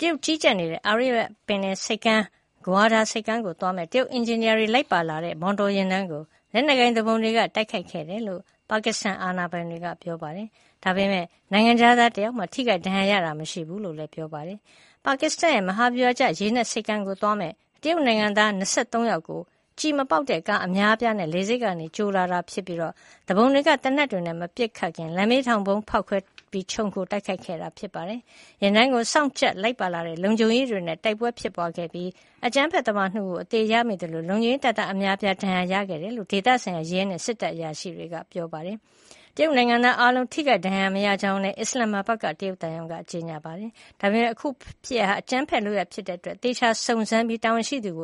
တရုတ်က ကြီးကြပ်နေတဲ့ အာရေဗျပင်လယ်ဆိပ်ကမ်း Gwadar ကိုသွားမယ့် တရုတ် အင်ဂျင်နီယာတွေလိုက်ပါလာတဲ့ မော်တော်ယဉ်တန်းကို လက်နက်ကိုင်သူပုန်တွေက တိုက်ခိုက်ခဲ့တယ်လို့ ပါကစ္စတန်အာဏာပိုင်တွေက ပြောပါတယ်။ ဒါပေမယ့် နိုင်ငံခြားသားတယောက်မှ ထိခိုက်ဒဏ်ရာရတာ မရှိဘူးလို့လည်း ပြောပါတယ်။ ပါကစ္စတန်ရဲ့မဟာဗျူဟာကျ ရေနက်ဆိပ်ကမ်းကိုသွားမယ့် တရုတ်နိုင်သား ၂၃ ယောက်ကို ကျည်မပေါက်တဲ့ကားအမျာအပြားနဲ့ လေဆိပ်ကနေကြိုလာတာဖြစ်ပြီး သူပုန်တွေက သေနတ်တွေနဲ့မပစ်ခတ်ခင် လမ်းဘေးထောင်ဗုံးဖေါက်ခွဲပြီး ခြုံခိုတိုက်ခိုက်ခဲ့ပါတယ်။ ယာဉ်တန်းကိုစောင့်ကြပ်လိုက်ပါလာတဲ့ လုံခြုံရေးတွေနဲ့ တိုက်ပွဲဖြစ်ခဲ့ပြီး အကြမ်းဖက်သမား ၂ ဦးကိုအသေရမိသလို လုံခြုံရေး တပ်သား အများအပြားလည်း ဒဏ်ရာတွေရခဲ့ကြတယ်လို့ ဒေသဆိုင်ရာ ရဲနဲ့စစ်တပ်အရာရှိတွေက ပြောပါတယ်။ တရုတ်နိုင်ငံသားအားလုံး ထိခိုက်ဒဏ်ရာမရကြောင်းလည်း အစ္စလန်မဘတ်မှာရှိတဲ့ တရုတ်သံရုံးက ကြေညာချက်ထုတ်ပြန်ပါတယ်။ ဒါပေမယ့် အခုဖြစ်ရပ်ဟာ အကြမ်းဖက်လုပ်ရပ်ဖြစ်တဲ့အတွက် သေချာစုံစမ်းပြီး တာဝန်ရှိသူကိ